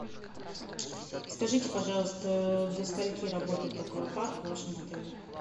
скажите пожалуйста до скольки работает аквапарк в вашем отеле